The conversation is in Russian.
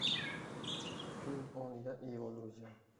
фильм он я и его друзья